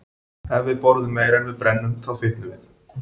Ef við borðum meira en við brennum, þá fitnum við.